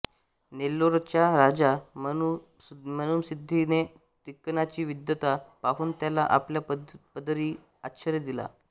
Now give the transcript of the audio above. नेल्लोरचा राजा मनुमसिद्धीने तिक्कन्नाची विद्वत्ता पाहून त्याला आपल्या पदरी आश्रय दिला